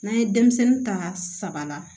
N'an ye denmisɛnnin ta saba la